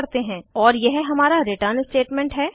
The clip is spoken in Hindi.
और यह हमारा रिटर्न स्टेटमेंट है